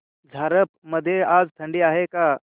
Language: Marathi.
झारप मध्ये आज थंडी आहे का